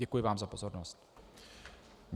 Děkuji vám za pozornost.